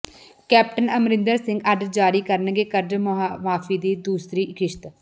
captain Amarinder Singh ਅੱਜ ਜਾਰੀ ਕਰਨਗੇ ਕਰਜ਼ ਮੁਆਫੀ ਦੀ ਦੂਸਰੀ ਕਿਸ਼ਤ